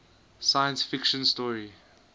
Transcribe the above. science fiction story